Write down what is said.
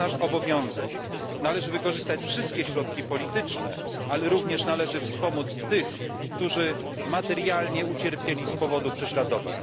To jest nasz obowiązek. Należy wykorzystać wszystkie środki polityczne, ale również należy wspomóc tych, którzy materialnie ucierpieli z powodu prześladowań.